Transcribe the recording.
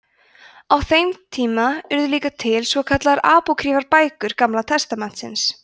á þeim tíma urðu líka til svo kallaðar apókrýfar bækur gamla testamentisins